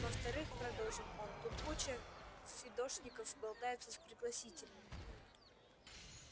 во-вторых продолжил он тут куча фидошников болтается с пригласительными